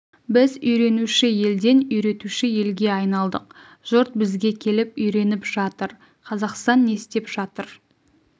біз үйренуші елден үйретуші елге айналдық жұрт бізге келіп үйреніп жатыр қазақстан не істеп жатыр